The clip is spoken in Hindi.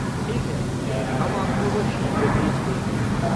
ठीक है, हम आपको वो शीघ्र भेज देंगे।